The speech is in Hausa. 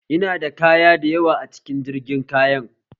Ina da kaya da yawa a cikin jirgin kayan